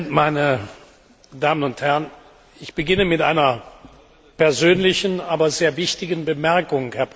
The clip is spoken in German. Herr Präsident, meine Damen und Herren! Ich beginne mit einer persönlichen, aber sehr wichtigen Bemerkung.